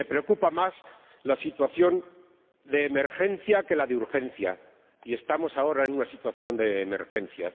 Y me preocupa más la situación de emergencia que la de urgencia, y estamos ahora en una situación de emergencia.